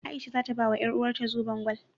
A'isha za ta bawa ƴaruwarta zoben gwal.